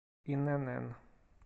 инн